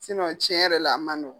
tiɲɛ yɛrɛ la a man nɔgɔ.